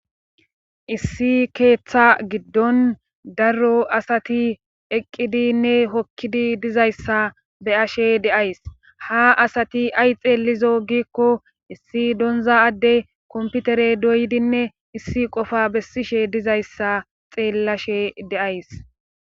Issi keeththa giddon darro asati eqqidinne hokkidi dizayssa beyashe deays ha asati ay xeellizo giikko issi donza adde komputere doydinne issi qofa bessishe dizayssa xeellashe deays.